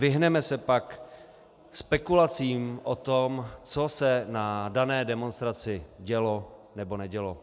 Vyhneme se pak spekulacím o tom, co se na dané demonstraci dělo, nebo nedělo.